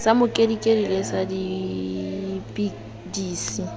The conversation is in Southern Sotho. sa mokedikedi le sa dipidisi